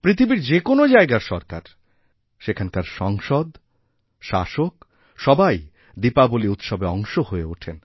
পৃথিবীর যে কোন জায়গার সরকার সেখানকার সংসদ শাসক সবাইদীপাবলী উৎসবের অংশ হয়ে ওঠেন